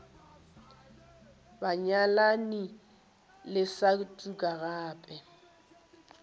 banyalani le sa tuka gape